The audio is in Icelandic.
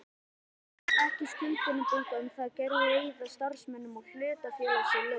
ekki til skuldbindingar um það að greiða starfsmönnum hlutafélagsins laun.